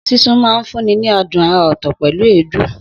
Sísun máa ń fúnni ní adùn àrà ọ̀tọ̀ pẹ̀lú èédú.